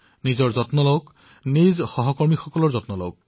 মই আপোনালোকক নিজৰ স্বাস্থ্যৰ প্ৰতিও মনোযোগ দিবলৈ আহ্বান জনাইছো